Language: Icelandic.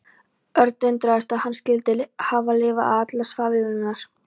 Örn undraðist að hann skyldi hafa lifað af allar svaðilfarirnar.